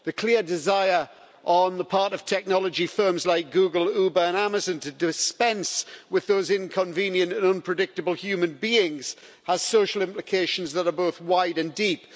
The clear desire on the part of technology firms like Google, Uber and Amazon to dispense with those inconvenient and unpredictable human beings has social implications that are both wide and deep.